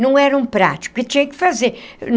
Não era um prático e tinha que fazer.